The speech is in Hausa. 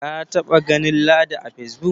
ka taba ganin ladi a face book